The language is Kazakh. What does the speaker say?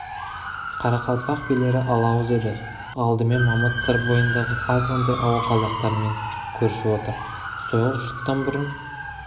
қарақалпақ билері алауыз еді алдымен мамыт сыр бойындағы азғантай ауыл қазақтармен көрші отыр сойыл жұрттан бұрын